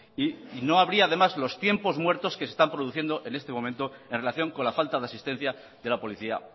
y no habría además los tiempos muertos que se están produciendo en este momento en relación con la falta de asistencia de la policía